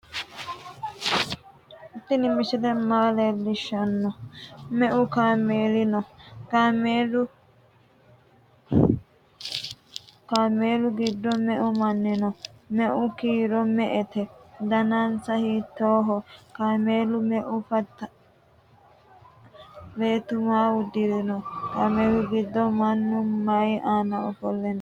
tini misile maa lelishano? meu kaameli no?kaamelu giddo meu maanu no?meu kiiro me"ete danninsa hitoho? kamela meu fantino? beetu maa udirino? kamelu giddo mannu mayi aana offole no?